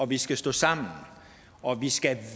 og vi skal stå sammen og vi skal